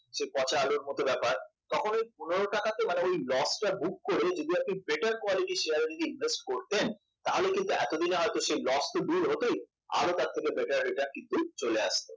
পচা আলুর মত ব্যাপার তখন ওই পনেরো টাকাতে মানে ওই loss টা book করে better quality শেয়ার এ যদি invest করতেন তাহলে কিন্তু এতদিনে হয়তো সেই loss তো দূর হতই আরো তার থেকে better return কিন্তু চলে আসতো